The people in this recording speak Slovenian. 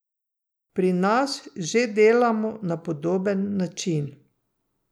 Pri nas že delamo na podoben način.